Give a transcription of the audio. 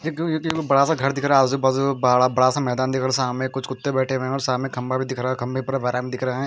ये एक एक बड़ा सा घर दिख रहा है आजुबाजु बड़ा बड़ासा मैदान दिख रहा है सामने कुछ कुत्ते बैठे हुए सामने खंबा भी दिख रहा खंबे पर दिख रहा है।